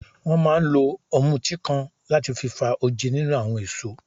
Wọ́n máa ń lo ọ̀mùtí kan láti fi fa oje nínú àwọn èso.